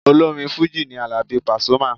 Olórin fújì ni Àlàbí Pasuma.